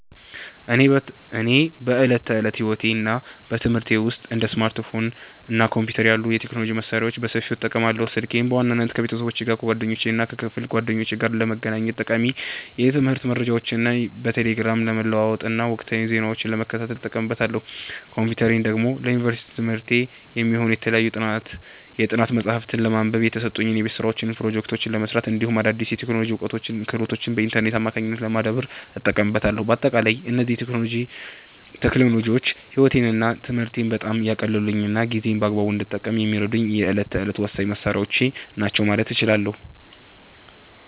እኔ በዕለት ተዕለት ሕይወቴና በትምህርቴ ውስጥ እንደ ስማርትፎን እና ኮምፒውተር ያሉ የቴክኖሎጂ መሣሪያዎችን በሰፊው እጠቀማለሁ። ስልኬን በዋናነት ከቤተሰብ፣ ከጓደኞቼና ከክፍል ጓደኞቼ ጋር ለመገናኘት፣ ጠቃሚ የትምህርት መረጃዎችን በቴሌግራም ለመለዋወጥና ወቅታዊ ዜናዎችን ለመከታተል እጠቀምበታለሁ። ኮምፒውተሬን ደግሞ ለዩኒቨርሲቲ ትምህርቴ የሚሆኑ የተለያዩ የጥናት መጽሐፍትን ለማንበብ፣ የተሰጡኝን የቤት ሥራዎችና ፕሮጀክቶች ለመሥራት፣ እንዲሁም አዳዲስ የቴክኖሎጂ እውቀቶችንና ክህሎቶችን በኢንተርኔት አማካኝነት ለማዳበር እጠቀምበታለሁ። በአጠቃላይ እነዚህ ቴክኖሎጂዎች ሕይወቴንና ትምህርቴን በጣም ያቀለሉልኝና ጊዜዬን በአግባቡ እንድጠቀም የሚረዱኝ የዕለት ተዕለት ወሳኝ መሣሪያዎቼ ናቸው ማለት እችላለሁ።